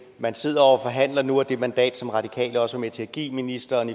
man sidder jo og forhandler nu og det mandat som radikale også var med til at give ministeren